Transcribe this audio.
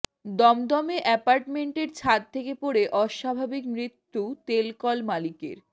দমদমে অ্যাপার্টমেন্টের ছাদ থেকে পড়ে অস্বাভাবিক মৃত্যু তেলকল মালিকের